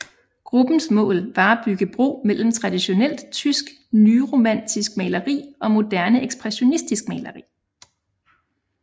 Gruppens mål var at bygge bro mellem tradionelt tysk nyromantisk maleri og moderne ekspressionistisk maleri